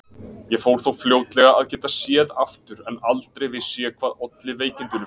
Ég fór þó fljótlega að geta séð aftur en aldrei vissi ég hvað olli veikindunum.